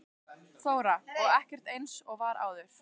Þóra: Og ekkert eins og var áður?